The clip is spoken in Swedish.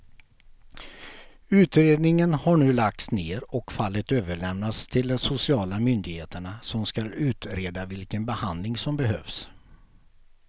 Utredningen har nu lagts ner och fallet överlämnats till de sociala myndigheterna som ska utreda vilken behandling som behövs.